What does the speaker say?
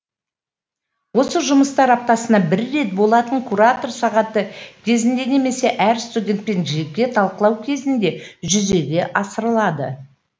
осы жұмыстар аптасына бір рет болатын куратор сағаты кезінде немесе әр студентпен жеке талқылау кезінде жүзеге асырылады